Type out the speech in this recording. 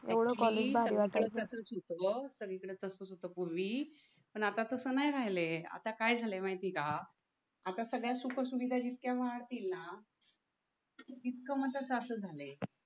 एवढं कॉलेज भारी वाटायचं सगळीकडे तसंच होतं पूर्वी पण आता तसं नाही राहिले आता काय झालं माहिती आहे का आता सगळ्या सुख सुविधा जितक्या वाढतील ना तितकं म्हणतात